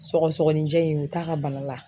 Sɔgɔsɔgɔnijɛ in u t'a ka bana la.